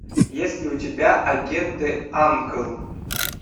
есть ли у тебя агенты анкл